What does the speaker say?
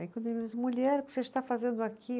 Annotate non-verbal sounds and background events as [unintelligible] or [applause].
Aí quando, [unintelligible] mulher, o que você está fazendo aqui?